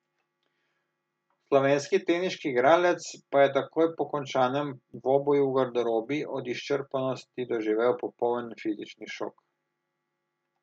Slovenski teniški igralec pa je takoj po končanem dvoboju v garderobi od izčrpanosti doživel popoln fizični šok.